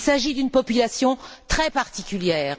Il s'agit d'une population très particulière!